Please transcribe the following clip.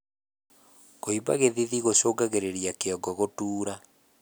Kuimba githithi gucungagirirĩa kĩongo gutuura